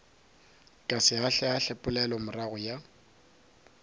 ka se ahlaahle poelomorago ya